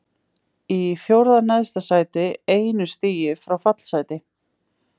Í fjórða neðsta sæti, einu stigi frá fallsæti.